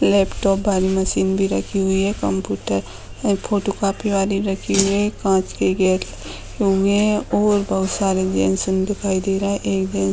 laptop वाली machine भी रखी हुई है कंप्यूटर ए फोटो कॉपी वाली रखी हुई है कांच के गेट हुए है और बहुत सारे जेंट्स दिखाई दे रहे है एक जेंट्स --